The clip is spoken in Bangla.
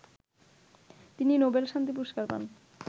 তিনি নোবেল শান্তি পুরস্কার পান